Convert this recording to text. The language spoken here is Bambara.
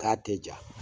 K'a tɛ ja